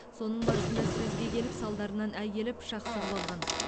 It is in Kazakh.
соның барысында сөзге келіп салдарынан әйелі пышақ сұғып алған